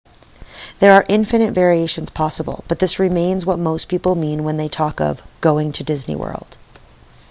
there are infinite variations possible but this remains what most people mean when they talk of going to disney world